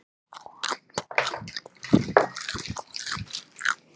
Þú heldur þó ekki, að ég hafi staðið fyrir þessu?